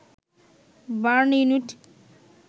burn unit